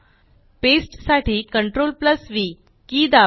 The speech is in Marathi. पेस्ट साठी CTRLV के दाबा